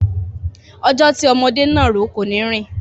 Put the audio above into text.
Ọjọ́ tí ọmọdé náàró kọ́ ni í rìn.